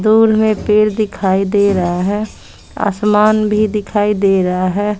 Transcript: दूर में पेड़ दिखाई दे रहा है आसमान भी दिखाई दे रहा है।